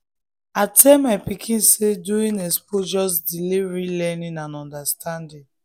i tell my pikin say doing expo just delay real learning and understanding.